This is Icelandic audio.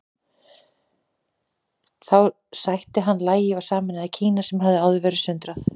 Þá sætti hann lagi og sameinaði Kína sem hafði áður verið sundrað.